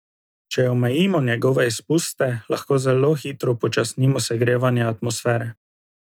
Če omejimo njegove izpuste, lahko zelo hitro upočasnimo segrevanje atmosfere.